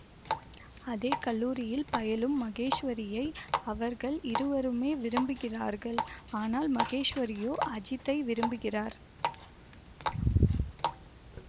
அதே கல்லூரியில் பயிலும் மகேஷ்வரியை அவர்கள் இருவருமே விரும்புகிறார்கள் ஆனால் மகேஷ்வரியோ அஜித்தை விரும்புகிறார்